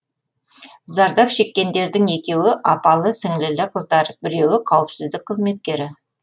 зардап шеккендердің екеуі апалы сіңлілі қыздар біреуі қауіпсіздік қызметкері